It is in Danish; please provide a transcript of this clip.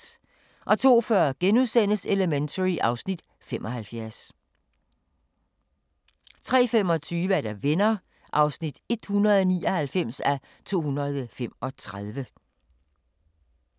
02:40: Elementary (Afs. 75)* 03:25: Venner (199:235)